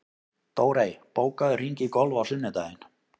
Dórey, bókaðu hring í golf á sunnudaginn.